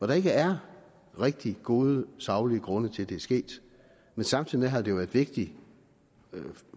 der ikke er rigtig gode saglige grunde til at det er sket men samtidig har det jo været vigtigt